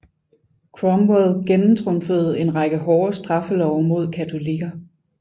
Cromwell gennemtrumfede en række hårde straffelove mod katolikker